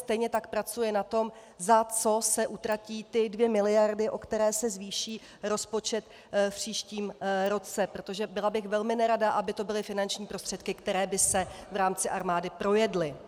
Stejně tak pracuje na tom, za co se utratí ty dvě miliardy, o které se zvýší rozpočet v příštím roce, protože byla bych velmi nerada, aby to byly finanční prostředky, které by se v rámci armády projedly.